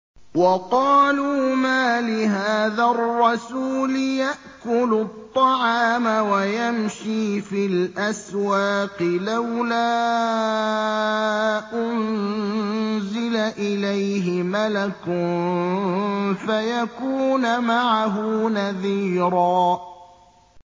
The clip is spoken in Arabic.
وَقَالُوا مَالِ هَٰذَا الرَّسُولِ يَأْكُلُ الطَّعَامَ وَيَمْشِي فِي الْأَسْوَاقِ ۙ لَوْلَا أُنزِلَ إِلَيْهِ مَلَكٌ فَيَكُونَ مَعَهُ نَذِيرًا